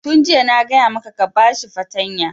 Tun jiya na gaya maka ka ba shi fartanya!